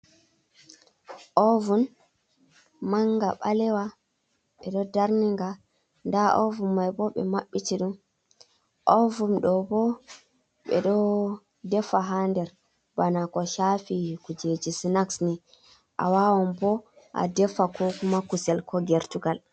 Ovun manga ɓalewa ɓe ɗo darninga nda ovun mai bo ɓe mabbiti ɗum, ovun ɗo bo ɓe ɗo defa ha nder bana ko shafi kujeji snax ni a wawan bo a defa kokuma kusel ko gertugal.